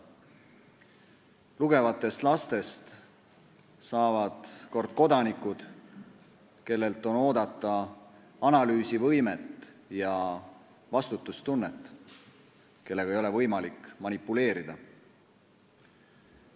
Lugevatest lastest saavad kord kodanikud, kellelt on oodata analüüsivõimet ja vastutustunnet ning kellega ei ole võimalik manipuleerida.